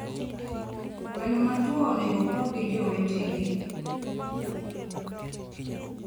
gwno matuo onego opog gi jowetege